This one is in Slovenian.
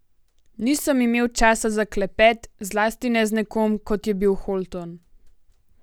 Nisem imel časa za klepet, zlasti ne z nekom, kot je bil Holton.